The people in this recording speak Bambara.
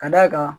Ka d'a kan